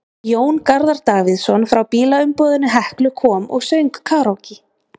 Jón Garðar Davíðsson frá bílaumboðinu Heklu kom og söng karókí.